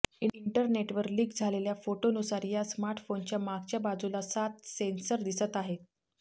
इंटरनेटवर लिक झालेल्या फोटोनुसार या स्मार्टफोनच्या मागच्या बाजूला सात सेन्सर दिसत आहेत